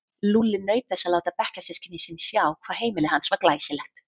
Lúlli naut þess að láta bekkjarsystkini sín sjá hvað heimili hans var glæsilegt.